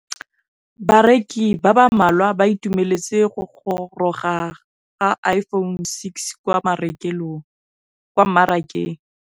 Bareki ba ba malwa ba ituemeletse go gôrôga ga Iphone6 kwa mmarakeng.